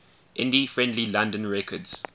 indie friendly london records